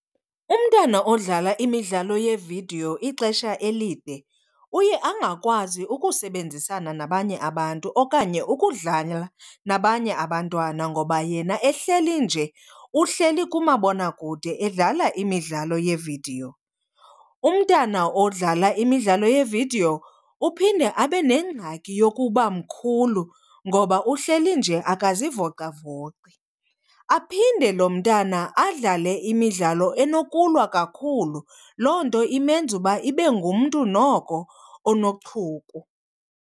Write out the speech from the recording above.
Umntwana odlala imidlalo yevidiyo ixesha elide uye angakwazi ukusebenzisana nabanye abantu okanye ukudlala nabanye abantwana ngoba yena ehleli nje uhleli kumabonakude edlala imidlalo yeevidiyo. Umntana odlala imidlalo yeevidiyo uphinde abe nengxaki yokuba mkhulu ngoba uhleli nje akazivocavoci. Aphinde lo mntana adlale imidlalo enokulwa kakhulu, loo nto imenza uba ibe ngumntu noko onochuku.